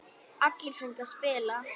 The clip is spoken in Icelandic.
Allir fengu að spila.